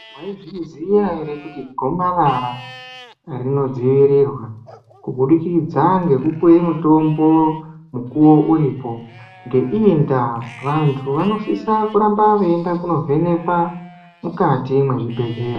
Maizviziya ere kuti gomarara rinodziirirwa, kubudikidza ngekupiwe mitombo mukuwo uripo? Ngeiyi ndaa vantu vanosise kuramba veiende kunovhenekwa mukati mwezvibhedhlera.